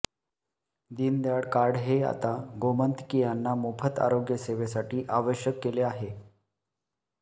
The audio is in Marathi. दीनदयाळ कार्ड हे आता गोमंतकीयांना मोफत आरोग्य सेवेसाठी आवश्यक केले आहे